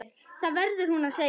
Það verður hún að segja.